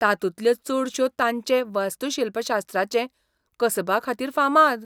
तातूंतल्यो चडश्यो तांचे वास्तूशिल्पशास्त्राचे कसबाखातीर फामाद.